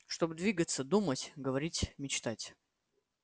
чтобы двигаться думать говорить мечтать